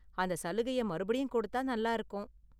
அந்த சலுகைய மறுபடியும் கொடுத்தா நல்லா இருக்கும்.